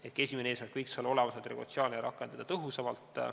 Ehk esimene eesmärk võiks olla see, et olemasolevat regulatsiooni rakendataks tõhusamalt.